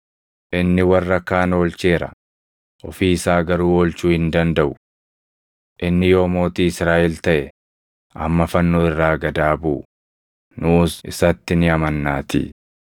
“Inni warra kaan oolcheera; ofii isaa garuu oolchuu hin dandaʼu! Inni yoo mootii Israaʼel taʼe amma fannoo irraa gad haa buʼu; nuus isatti ni amannaatii.